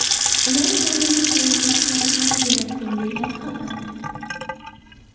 Ular odamlarni chalg‘ituvchi sahifalar yaratgan”, deyiladi xabarda.